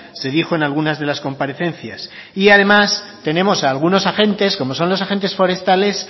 se dijo en algunas de las comparecencias y además tenemos a algunos agentes como son los agentes forestales